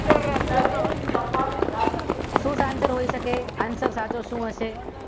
શું આન્સર હોય શકે સાચો આન્સર સાચો શું હશે?